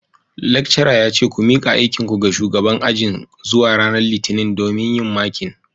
Lecturer yace ku mika aikinku ga shugaban ajin zuwa ranar litinin domin yin marking